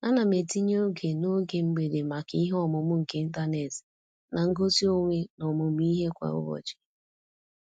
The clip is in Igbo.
Ana m etinye oge n'oge mgbede maka ihe ọmụmụ nke ịntanet na ngosi onwe n'ọmụmụ ihe kwa ụbọchị.